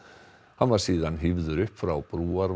hann var síðan hífður upp frá